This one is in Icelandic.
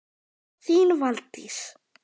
Þín Valdís.